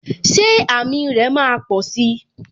Ṣé àmì rè máa posi?